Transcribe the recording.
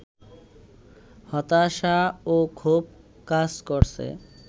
হতাশা ও ক্ষোভ কাজ করছে